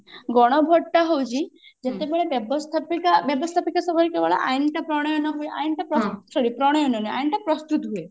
ଗଣ vote ଟା ହଉଛି ଯେତେବେଳେ ବ୍ୟବସ୍ତାପିକା ବ୍ୟବସ୍ତାପିକା ସଭାରେ କେବଳ ଆଇନ ଟା ପ୍ରଣୟନ ହୁଏ ଆଇନ ଟା sorry ଆଇନ ଟା ପ୍ରଣୟନ ନୁହେଁ ଆଇନ ଟା ପ୍ରସ୍ତୁତ ହୁଏ